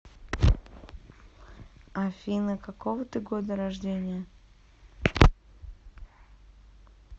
афина какого ты года рождения